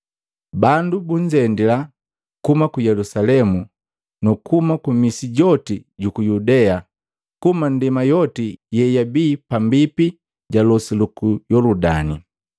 Bandu bunzendila, kuhuma ku Yelusalemu na kuhuma misi yoti yuku Yudea kuhuma ndema yoti yeibii pambipi ja losi luku Yoludani.